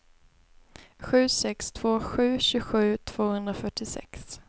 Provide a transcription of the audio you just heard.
sju sex två sju tjugosju tvåhundrafyrtiosex